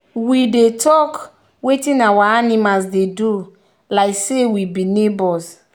we dey talk wetin our animals dey do like say we be neigbours.